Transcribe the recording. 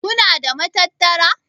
Kuna da matattara?